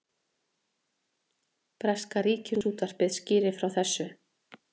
Breska ríkisútvarpið skýrir frá þessu